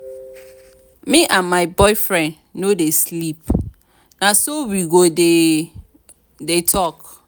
me and my boyfriend no dey sleep. na so we go dey talk.